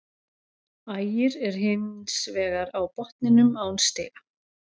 Ægir er hins vegar á botninum án stiga.